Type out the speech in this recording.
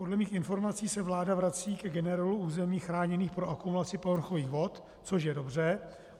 Podle mých informací se vláda vrací ke generelu území chráněných pro akumulaci povrchových vod, což je dobře.